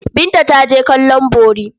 Binta ta je kallon bori.